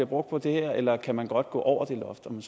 brugt på det her eller kan man godt gå over det loft om